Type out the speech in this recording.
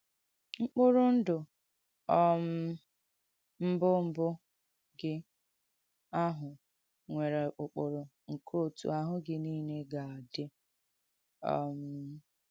M̀kpùrụ̀ ndụ̀ um mbụ̀ mbụ̀ gị àhụ̀ nwērē ụ̀kpụrụ nke òtụ àhụ́ gị niile ga-àdị̀. um